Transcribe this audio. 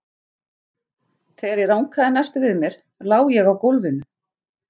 Þegar ég rankaði næst við mér lá ég á gólfinu.